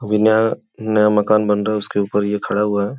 अभी नया नया मकान बन रहा है। उसके ऊपर ये खड़ा हुआ है।